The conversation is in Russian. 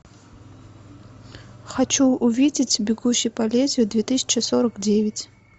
хочу увидеть бегущий по лезвию две тысячи сорок девять